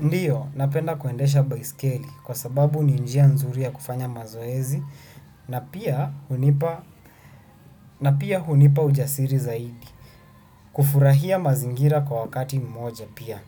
Ndiyo, napenda kuendesha baiskeli kwa sababu ni njia nzuri ya kufanya mazoezi na pia hunipa ujasiri zaidi. Kufurahia mazingira kwa wakati mmoja pia.